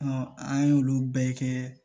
an y'olu bɛɛ kɛ